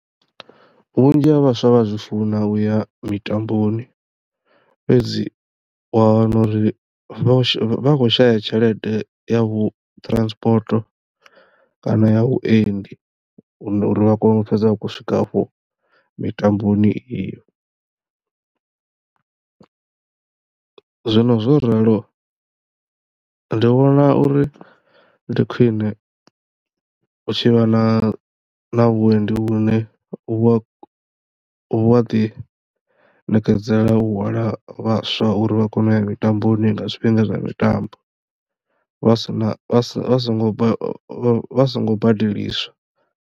Vhunzhi ha vhaswa vha a zwi funa uya mitamboni fhedzi wa wana uri vha khou shaya tshelede ya vhu transport kana ya vhuendi uri vha kono u fhedza vha tshi khou swika afho mitamboni iyo. Zwino zwo ralo ndi vhona uri ndi khwine u tshi vha na na vhuendi vhu ne u wa wa ḓi ṋekedzela u hwala vhaswa uri vha kono u ya mitambo ni nga zwifhinga zwa mitambo vha sina sa songo vha songo badeliswa.